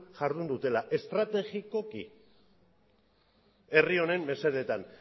jardun dutela estrategikoki herri honen mesedetan